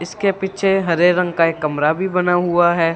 इसके पीछे हरे रंग का एक कमरा भी बना हुआ है।